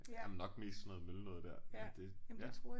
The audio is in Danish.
Jamen nok mest sådan noget møl noget der men det ja